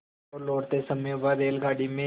तो लौटते समय वह रेलगाडी में